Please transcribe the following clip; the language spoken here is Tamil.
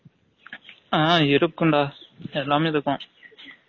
ஆ இருக்கும் டா எல்லமே இருக்கும்